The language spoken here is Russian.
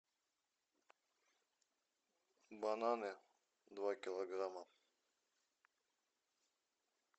бананы два килограмма